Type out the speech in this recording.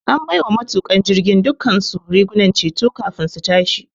An bai wa matuƙan jirgin dukkansu rigunan ceto kafin su tashi.